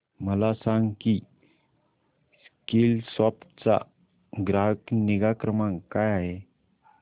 मला सांग की स्कीलसॉफ्ट चा ग्राहक निगा क्रमांक काय आहे